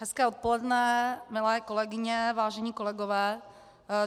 Hezké odpoledne, milé kolegyně, vážení kolegové.